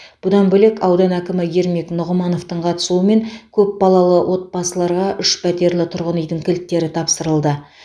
бұдан бөлек аудан әкімі ермек нұғымановтың қатысуымен көпбалалы отбасыларға үш пәтерлі тұрғын үйдің кілттері тапсырылды